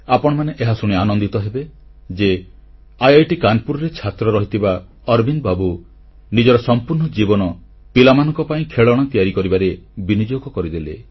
ଆପଣମାନେ ଏହାଶୁଣି ଆନନ୍ଦିତ ହେବେ ଯେ ଆଇଆଇଟି କାନପୁରରେ ଛାତ୍ର ରହିଥିବା ଅରବିନ୍ଦ ବାବୁ ନିଜର ସମ୍ପୂର୍ଣ୍ଣ ଜୀବନ ପିଲାମାନଙ୍କ ପାଇଁ ଖେଳଣା ତିଆରି କରିବାରେ ବିନିଯୋଗ କରିଦେଲେ